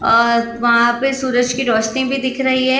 और वहाँ पे सूरज की रोशनी भी दिख रही है--